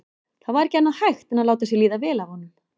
Það var ekki annað hægt en láta sér líða vel af honum.